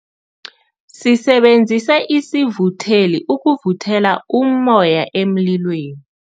Sisebenzise isivutheli ukuvuthela ummoya emlilweni.